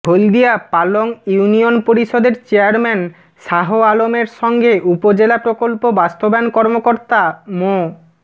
হলদিয়া Palong union পরিষদের chairman Shah আলমের সঙ্গে উপজেলা প্রকল্প বাস্তবায়ন কর্মকর্তা মো